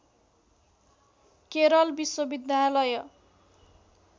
केरल विश्वविद्यालय